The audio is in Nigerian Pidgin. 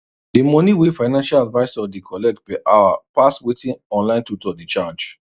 the money wey financial advisor dey collect per hour pass wetin online tutor dey charge